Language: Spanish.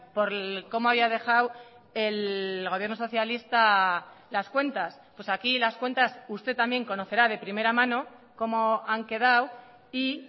por cómo había dejado el gobierno socialista las cuentas pues aquí las cuentas usted también conocerá de primera mano cómo han quedado y